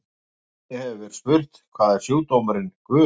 Einnig hefur verið spurt: Hvað er sjúkdómurinn gula?